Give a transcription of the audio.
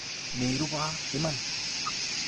Meruba iman.